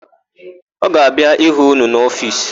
Ọ ga-abịa ịhụ ụnụ n'ofiisi?